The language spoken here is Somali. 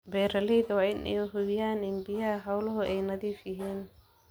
Beeralayda waa in ay hubiyaan in biyaha xooluhu ay nadiif yihiin.